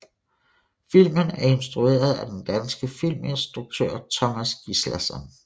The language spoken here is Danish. Filmen er instrueret af den danske filminstruktør Tomas Gislason